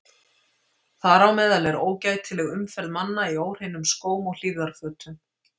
Þar á meðal er ógætileg umferð manna í óhreinum skóm og hlífðarfötum.